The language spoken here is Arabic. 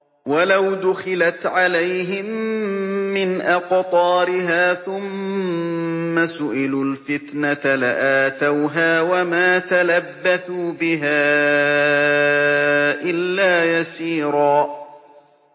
وَلَوْ دُخِلَتْ عَلَيْهِم مِّنْ أَقْطَارِهَا ثُمَّ سُئِلُوا الْفِتْنَةَ لَآتَوْهَا وَمَا تَلَبَّثُوا بِهَا إِلَّا يَسِيرًا